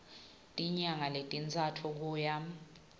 tinyanga letintsatfu kuya